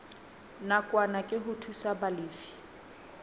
nakwana ke ho thusa balefi